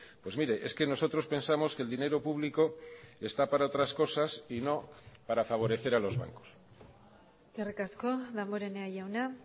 pues mire es que nosotros pensamos que el dinero público está para otras cosas y no para favorecer a los bancos eskerrik asko damborenea jauna